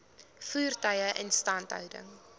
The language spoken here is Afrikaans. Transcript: voertuie instandhouding